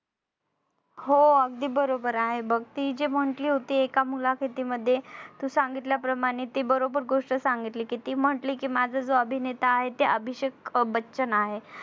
हो अगदी बरोबर आहे बघ ती जे म्हटली होती एका मुलाखतीमध्ये तू सांगितल्याप्रमाणे ती बरोबर गोष्ट सांगितली ती म्हटली कि माझा जो अभिनेता आहे ते अभिषेक बच्चन आहे.